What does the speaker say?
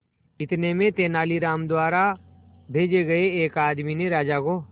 इतने में तेनालीराम द्वारा भेजे गए एक आदमी ने राजा को